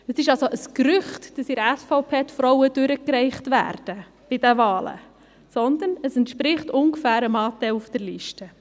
Es ist also ein Gerücht, dass die Frauen in der SVP bei den Wahlen durchgereicht werden, sondern es entspricht ungefähr dem Anteil auf der Liste.